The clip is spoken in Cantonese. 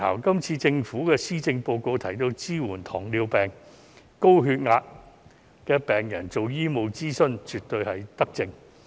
今次政府在施政報告提到要支援糖尿病或高血壓病人進行醫務諮詢，這絕對是一項德政。